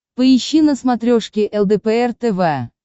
поищи на смотрешке лдпр тв